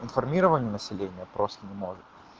информирование населения просто не может